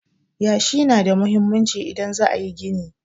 Yashi na da muhimmanci idan za a yi gini.